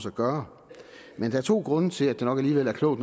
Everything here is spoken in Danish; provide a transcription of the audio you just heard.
at gøre men der er to grunde til at det nok alligevel er klogt